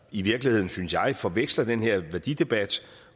i virkeligheden synes jeg forveksler den her værdidebat